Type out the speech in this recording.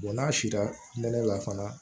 n'a sila nɛnɛ la fana